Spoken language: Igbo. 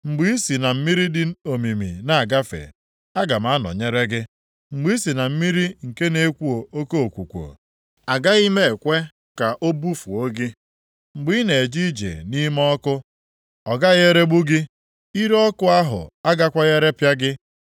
Mgbe ị si na mmiri dị omimi na-agafe, aga m anọnyere gị. Mgbe i si na mmiri nke na-ekwo oke okwukwo, agaghị m ekwe ka o bufuo gị. Mgbe ị na-eje ije nʼime ọkụ, ọ gaghị eregbu gị. Ire ọkụ ahụ agakwaghị erepịa gị.